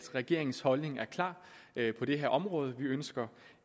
regeringens holdning er klar på det her område vi ønsker